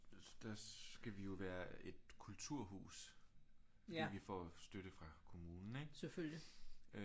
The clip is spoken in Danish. Der skal vi jo være et kulturhus fordi vi får støtte fra kommunen ikke